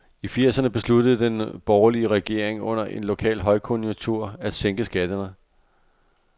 I firserne besluttede den borgerlige regering under en lokal højkonjunktur at sænke skatterne.